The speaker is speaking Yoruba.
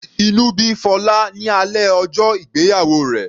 Inú bí Fola ní alẹ́ ọjọ́ ìgbéyàwó rẹ̀.